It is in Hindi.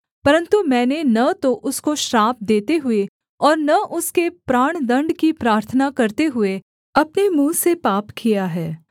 परन्तु मैंने न तो उसको श्राप देते हुए और न उसके प्राणदण्ड की प्रार्थना करते हुए अपने मुँह से पाप किया है